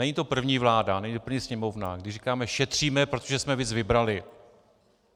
Není to první vláda, není to první Sněmovna, kdy říkáme "šetříme, protože jsme víc vybrali".